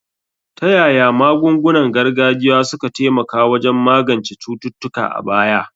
Ta yaya magungunan gargajiya suka taimaka wajen magance cututtuka a baya?